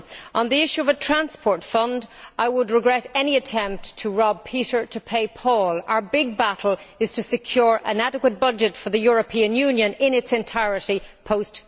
On the issue of a transport fund, I would regret any attempt to rob Peter to pay Paul. Our big battle is to secure an adequate budget for the European Union in its entirety post